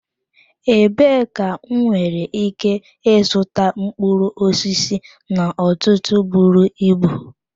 Ebee ka m nwere ike ịzụta mkpụrụ osisi n'ọtụtụ buru ibu?